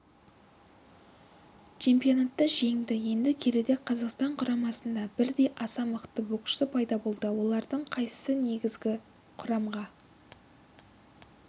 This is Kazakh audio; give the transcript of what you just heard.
чемпионатта жеңді енді келіде қазақстан құрамасында бірдей аса мықты боксшы пайда болды олардың қайсысы негізгі құрамға